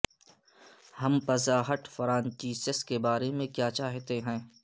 ہم Pizza Hut franchises کے بارے میں کیا چاہتے ہیں